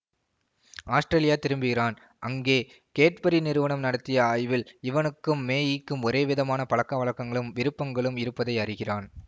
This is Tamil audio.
ஆஸ்ட்ரேலியா திரும்புகிறான் அங்கே கேட்பரி நிறுவனம் நடித்திய ஆய்வில் இவனுக்கும் மேகிக்கும் ஒரே விதமான பழக்கவழக்கங்களும் விருப்பங்களும் இருப்பதை அறிகிறான்